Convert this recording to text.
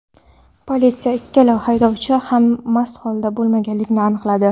Politsiya ikkala haydovchi ham mast holatda bo‘lmaganligini aniqladi.